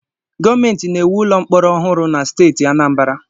Gọọmentị na-ewu ụlọ mkpọrọ ọhụrụ na steeti Anambara.